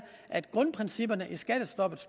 at grundprincippet i skattestoppet